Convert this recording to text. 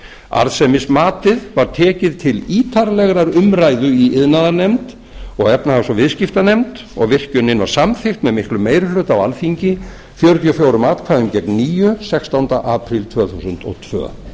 arðsemismatið var tekið til ítarlegrar umræðu í iðnaðarnefnd og efnahags og viðskiptanefnd og virkjunin var samþykkt með miklum meiri hluta á alþingi fjörutíu og fjögur níu atkvæðum sextánda apríl tvö þúsund og tvö